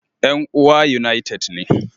Yan uwa United ne